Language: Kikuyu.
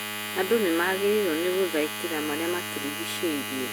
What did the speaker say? Andũ nĩmagĩrĩirwo nĩ gũthaitira marĩa matũrigicĩirie